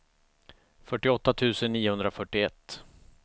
fyrtioåtta tusen niohundrafyrtioett